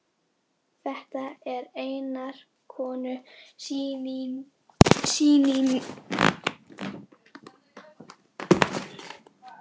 Þetta er einnar konu sýning.